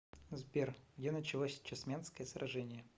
сбер где началось чесменское сражение